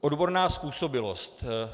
Odborná způsobilost.